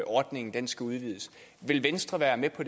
ordningen skal udvides vil venstre være med på